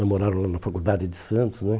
Namoraram lá na faculdade de Santos, né?